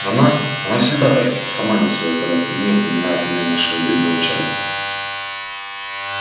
она она всегда так сама не своя когда при ней упоминают имя нашего бедного чарльза